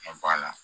Ka b'a la